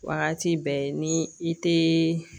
Wagati bɛɛ ni i tee